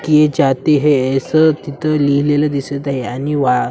असं तिथ लिहिलेलं दिसत आहे आणि वा --